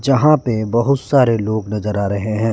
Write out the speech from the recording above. यहां पे बहुत सारे लोग नजर आ रहे हैं।